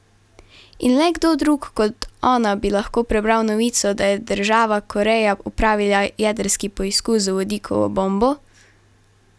In le kdo drug kot ona bi lahko prebral novico, da je država Koreja opravila jedrski poskus z vodikovo bombo?